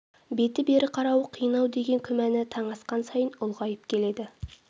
беті бері қарауы қиын-ау деген күмәні таң асқан сайын ұлғайып келеді